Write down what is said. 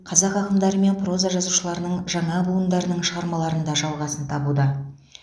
қазақ ақындары мен проза жазушыларының жаңа буындарының шығармаларында жалғасын табуда